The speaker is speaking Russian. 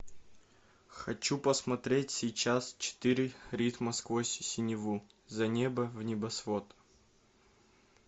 хочу посмотреть сейчас четыре ритма сквозь синеву за небо в небосвод